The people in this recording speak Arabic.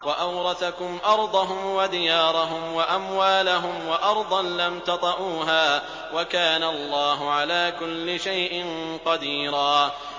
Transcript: وَأَوْرَثَكُمْ أَرْضَهُمْ وَدِيَارَهُمْ وَأَمْوَالَهُمْ وَأَرْضًا لَّمْ تَطَئُوهَا ۚ وَكَانَ اللَّهُ عَلَىٰ كُلِّ شَيْءٍ قَدِيرًا